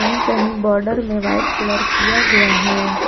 ये कहीं बॉर्डर में वाइट कलर किया गया है।